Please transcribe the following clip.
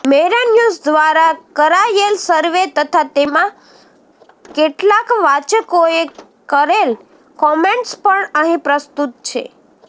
મેરાન્યૂઝ દ્વારા કરાયેલ સર્વે તથા તેમા કેટલાક વાચકોએ કરેલ કોમેન્ટ્સ પણ અહીં પ્રસ્તુત છે